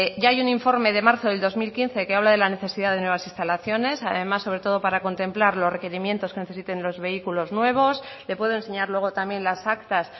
ya hay un informe de marzo del dos mil quince que habla de la necesidad de nuevas instalaciones además sobre todo para contemplar los requerimientos que necesiten los vehículos nuevos le puedo enseñar luego también las actas